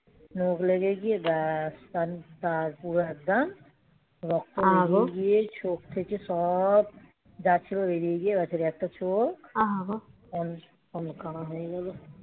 চোখ লেগে গিয়ে ব্যাস. সার পুরো একটা রক্ত দিয়ে চোখ থেকে সব যা ছিল বেরিয়ে গিয়ে ভেতরে একটা চোখ বাবা হয়ে যাবে হুম